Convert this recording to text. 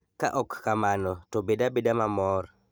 Ka ok kamano, to bed abeda mamor.